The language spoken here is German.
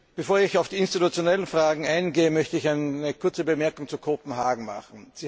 Bevor ich auf die institutionellen Fragen eingehe, möchte ich eine kurze Bemerkung zu Kopenhagen machen.